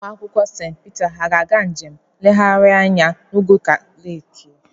Ụmụakwụkwọ St Peter ha ga-aga njem nleghari anya n'Oguta leki?